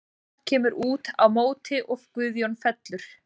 Fjalar kemur út á móti og Guðjón fellur.